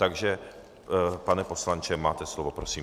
Takže pane poslanče, máte slovo, prosím.